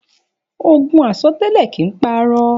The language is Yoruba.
Ògún àsọtẹlẹ kín pà àrọ